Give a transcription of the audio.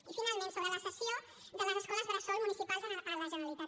i finalment sobre la cessió de les escoles bressol municipals a la generalitat